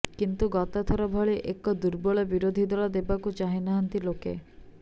କିନ୍ତୁ ଗତ ଥର ଭଳି ଏକ ଦୁର୍ବଳ ବିରୋଧୀ ଦଳ ଦେବାକୁ ଚାହିଁନାହାନ୍ତି ଲୋକେ